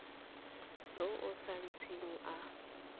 yo o sa ntseng a